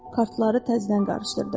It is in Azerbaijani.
Kartları təzdən qarışdırdı.